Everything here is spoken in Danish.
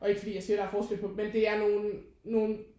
Og ikke fordi jeg siger at der er forskel på dem men det er nogen nogen